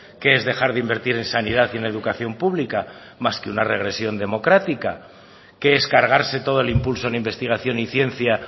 qué es dejar de invertir en sanidad y en la educación pública más que una regresión democrática qué es cargarse todo el impulso en investigación y ciencia